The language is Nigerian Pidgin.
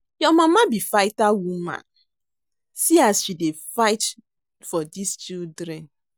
Your mama be fighter woman see as she dey fight tor dis children